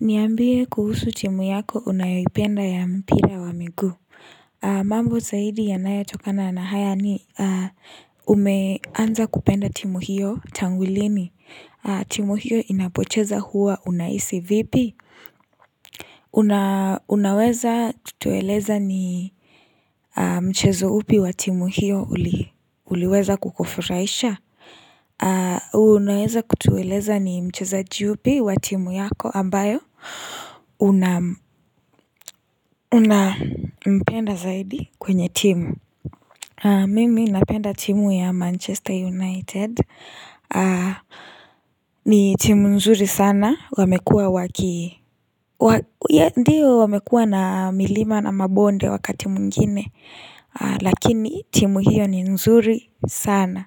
Niambie kuhusu timu yako unayoipenda ya mpira wa miguu mambo zaidi yanayo tokana na haya ni umeanza kupenda timu hiyo tanu lini timu hiyo inapocheza huwa unahisi vipi Unaweza tueleza ni Mchezo upi wa timu hiyo uliweza kukufurahisha Unaweza kutueleza ni mchezaji yupi wa timu yako ambayo Unampenda zaidi kwenye timu Mimi napenda timu ya Manchester United ni timu nzuri sana Wamekuwa wakii, Ndiyo wamekuwa na milima na mabonde wakati mwingine Lakini timu hiyo ni nzuri sana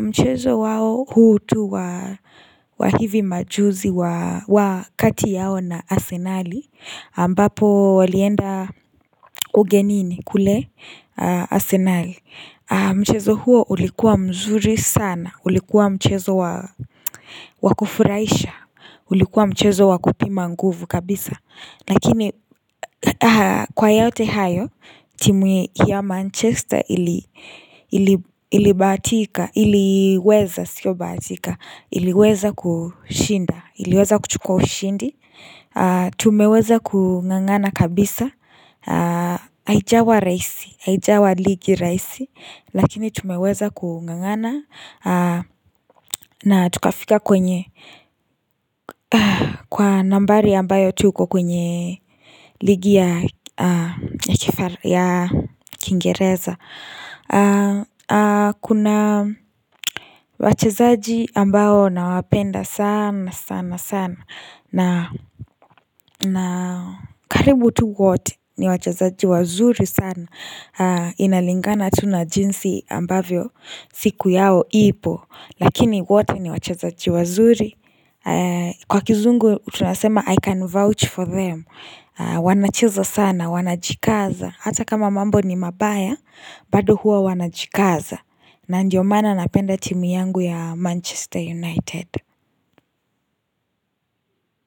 Mchezo wao huu tu wa hivi majuzi wa kati yao na asenali ambapo walienda ugenini kule asenali Mchezo huo ulikuwa mzuri sana ulikuwa mchezo wakufurahisha ulikuwa mchezo wakupima nguvu kabisa Nakini kwa yaote hayo timu ya Manchester ilibahatika iliweza sio batika iliweza kushinda iliweza kuchukua ushindi tumeweza kungangana kabisa haijawa rahisi aijawa ligi rahisi Lakini tumeweza kungangana na tukafika kwenye Kwa nambari ambayo tuko kwenye ligi ya kingereza Kuna wachezaji ambao nawapenda saana sana sana na karibu tu wote ni wachazaji wazuri sana Inalingana tu na jinsi ambavyo siku yao ipo Lakini wote ni wachezaji wazuri Kwa kizungu tunasema 'i can vouch for them' wanacheza sana, wanajikaza Hata kama mambo ni mabaya, bado huwa wanajikaza na ndiyo maana napenda timu yangu ya Manchester United.